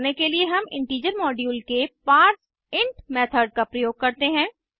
ऐसा करने के लिए हम इंटीजर मोड्यूल के पारसेंट मेथड का प्रयोग करते हैं